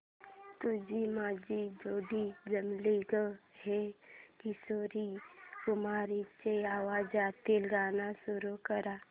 तुझी माझी जोडी जमली गं हे किशोर कुमारांच्या आवाजातील गाणं सुरू कर